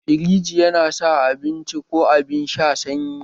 Firiji yana sa abinci ko abin sha sanyi